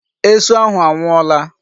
Esu ahụ anwụọla.